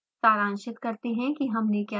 सारांशित करते हैं कि हमने क्या सीखा है